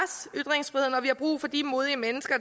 er vi har brug for de modige mennesker